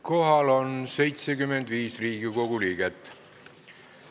Kohal on 75 Riigikogu liiget.